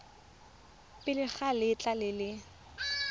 pele ga letlha le le